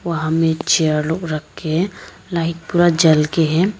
वहां मेज चेयर लोग रखें हैं लाइट पूरा जल के है।